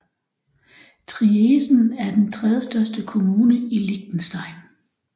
Triesen er den tredjestørste kommune i Liechtenstein